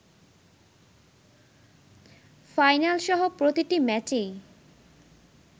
ফাইনালসহ প্রতিটি ম্যাচেই